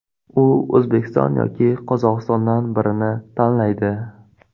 U O‘zbekiston yoki Qozog‘istondan birini tanlaydi.